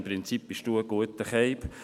«Im Prinzip bist du ein guter Typ.